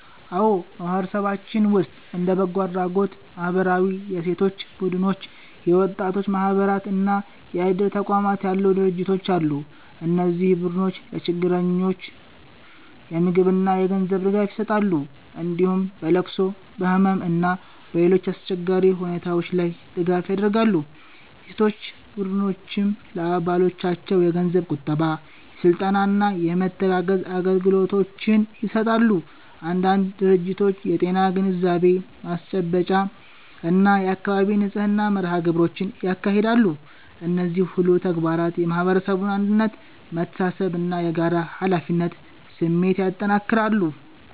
አዎ፣ በማህበረሰባችን ውስጥ እንደ በጎ አድራጎት ማህበራት፣ የሴቶች ቡድኖች፣ የወጣቶች ማህበራት እና የእድር ተቋማት ያሉ ድርጅቶች አሉ። እነዚህ ቡድኖች ለችግረኞች የምግብና የገንዘብ ድጋፍ ይሰጣሉ፣ እንዲሁም በለቅሶ፣ በህመም እና በሌሎች አስቸጋሪ ሁኔታዎች ላይ ድጋፍ ያደርጋሉ። የሴቶች ቡድኖችም ለአባሎቻቸው የገንዘብ ቁጠባ፣ የስልጠና እና የመተጋገዝ አገልግሎቶችን ይሰጣሉ። አንዳንድ ድርጅቶች የጤና ግንዛቤ ማስጨበጫ እና የአካባቢ ንጽህና መርሃ ግብሮችንም ያካሂዳሉ። እነዚህ ሁሉ ተግባራት የማህበረሰቡን አንድነት፣ መተሳሰብ እና የጋራ ኃላፊነት ስሜት ያጠናክራሉ።